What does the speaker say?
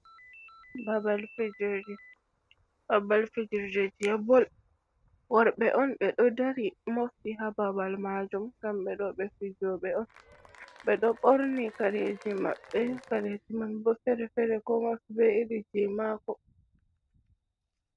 Babal fijirde, babal fijirde bol worɓe on be ɗo dari mofti ha babal majum, ngam ɓe ɗo ɓe fijoɓe on ɓe ɗo ɓorni kareji maɓɓe, kareji man bo fere fere kowa bo fu be irin je mako.